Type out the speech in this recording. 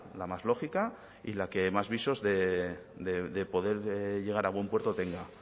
la más lógica y la que más visos de poder llegar a buen puerto tenga